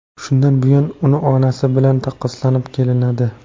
Shundan buyon uni onasi bilan taqqoslanib kelinadi.